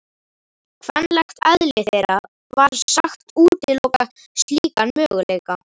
Kvenlegt eðli þeirra var sagt útiloka slíkan möguleika.